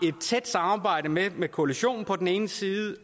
et tæt samarbejde med med koalitionen på den ene side